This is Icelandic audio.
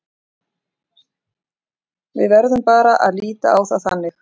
Við verðum bara að líta á það þannig.